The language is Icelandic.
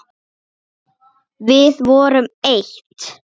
Við vorum eitt.